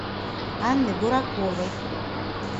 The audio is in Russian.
анны бураковой